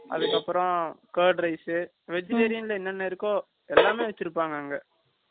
அதுக்கப்புறம், card rice , vegetarian ல, என்னென்ன இருக்கோ, எல்லாமே வச்சிருப்பாங்க, அங்க